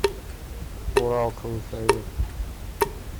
урал крылья советов